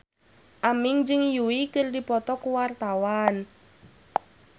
Aming jeung Yui keur dipoto ku wartawan